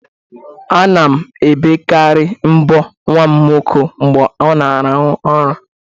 Ana m ebekarị mbọ nwa m nwoke mgbe ọ na-arahụ ura